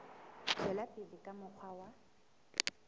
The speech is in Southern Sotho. tswela pele ka mokgwa wa